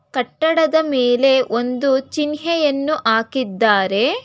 ಕಟ್ಟಡದ ಮೇಲೆ ಒಂದು ಚಿಹ್ನೆಯನ್ನು ಹಾಕಿದ್ದಾರೆ.